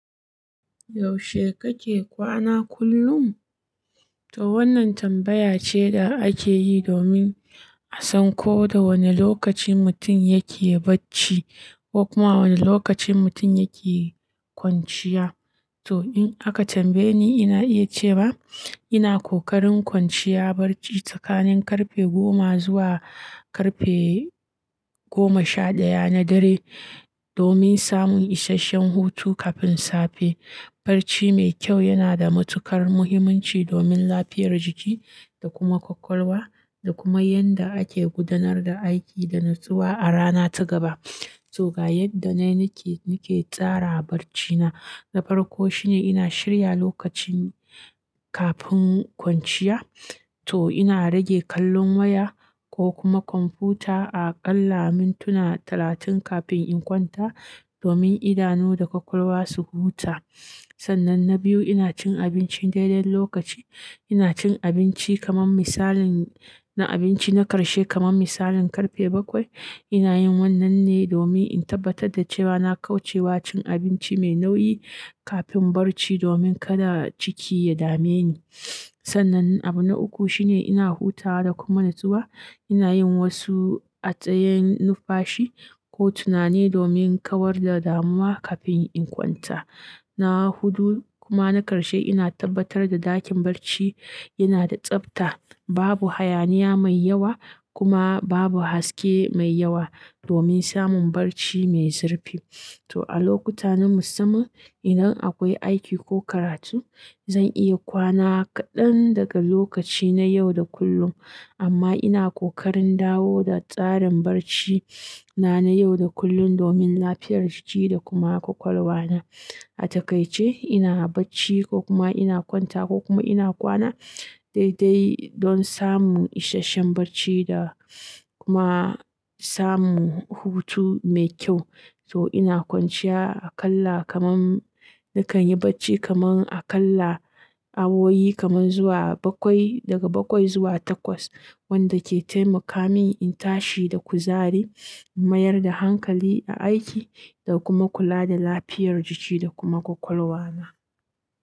Yaushe kake kwana kullum? To wannan tambaya ce da ake yi domin a san ko da wane lokaci mutum yake bacci ko kuma wane lokaci mutum yake kwanciya. To in aka tambaye ni, ina iya cewa ina ƙoƙarin kwanciya barci tsakanin karfe goma zuwa karfe goma sha ɗaya na dare domin samun isasshen hutu kafin safe. Barci mai kyau yana da matuƙar muhimmanci domin lafiyar jiki da kuma ƙwaƙwalwa da kuma yadda ake gudanar da aiki da nutsuwa a rana ta gaba. To ga yadda ni nake, nake tsara barcina. Na farko shine ina shirya lokacin kafin kwanciya. To ina rage kallon waya ko kuma kwamfuta a ƙalla mintinan talatin kafin in kwanta domin idanu da ƙwaƙwalwa su huta. Sannan na biyu ina cin abinci daidai lokaci. Ina cin abinci kamar misalin na abinci na ƙarshe kamar misalin karfe bakwai. Ina yin wannan ne domin in tabbatar da cewa na kauce wa cin abinci mai nauyi kafin barci domin kada ciki ya dame ni. Sannan abu na uku shine ina hutawa da kuma nutsuwa. Ina yin wasu atsayen numfashi ko tunani domin kawar da damuwa kafin in kwanta. Na hudu kuma na ƙarshe ina tabbatar da ɗakin barci yana da tsabta, babu hayaniya mai yawa kuma babu haske mai yawa domin samun barci mai zurfi. To a lokutan na musamman idan akwai aiki ko karatu, zan iya kwana kaɗan daga lokaci na yau da kullum, amma ina ƙoƙarin dawo da tsarin barci na na yau da kullun domin lafiyar jiki da kuma ƙwaƙwalwa na. A takaice ina bacci ko kuma ina kwanta ko kuma ina kwana daidai don samun isasshen barci da kuma samun hutu mai kyau. To ina kwanciya aƙalla kamar nakan yi bacci kamar aƙalla awowi kamar zuwa bakwai, daga bakwai zuwa takwas wanda ke taimaka mini in tashi da kuzari, in mayar da hankali a aiki da kuma kula da lafiyar jiki da kuma ƙwaƙwalwa na.